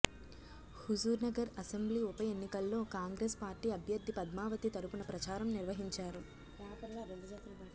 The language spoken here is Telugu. హుజూర్నగర్ అసెంబ్లీ ఉప ఎన్నికల్లో కాంగ్రెస్ పార్టీ అభ్యర్ధి పద్మావతి తరపున ప్రచారం నిర్వహించారు